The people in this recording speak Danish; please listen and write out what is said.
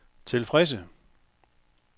tilfredse